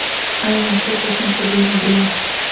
Aynan shu qo‘shimcha bino bilan.